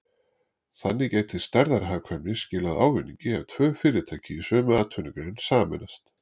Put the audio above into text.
Þannig gæti stærðarhagkvæmni skilað ávinningi ef tvö fyrirtæki í sömu atvinnugrein sameinast.